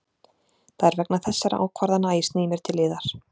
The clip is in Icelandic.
Það er vegna þessara ákvarðana að ég sný mér til yðar.